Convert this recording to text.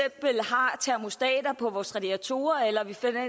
har termostater på vores radiatorer eller